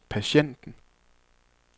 patienten